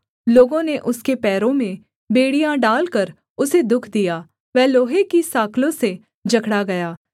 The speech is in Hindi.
लोगों ने उसके पैरों में बेड़ियाँ डालकर उसे दुःख दिया वह लोहे की साँकलों से जकड़ा गया